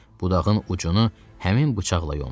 Budağın ucunu həmin bıçaqla yondu.